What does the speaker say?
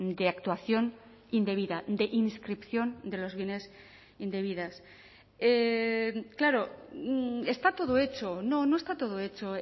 de actuación indebida de inscripción de los bienes indebidas claro está todo hecho no no está todo hecho